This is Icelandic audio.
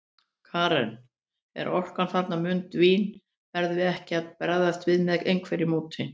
Karen: En orkan þarna mun dvína, verðum við ekki að bregðast við með einhverju móti?